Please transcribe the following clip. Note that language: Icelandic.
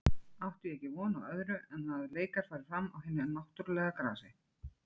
Átti ég ekki von á öðru en að leikar færu fram á hinu náttúrulega grasi.